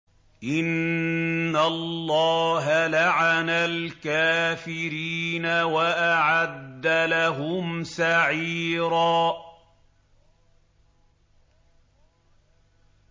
إِنَّ اللَّهَ لَعَنَ الْكَافِرِينَ وَأَعَدَّ لَهُمْ سَعِيرًا